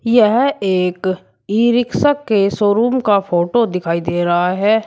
यह एक e rickshaw के शोरूम का फोटो दिखाई दे रहा है।